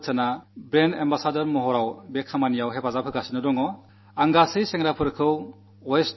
Amitabh Bachchanji brand ambassador എന്ന നിലയിൽ ഇക്കാര്യത്തിൽ വളരെയേറെ പങ്കു വഹിക്കുന്നുണ്ട്